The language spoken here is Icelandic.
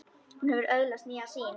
Hún hefur öðlast nýja sýn.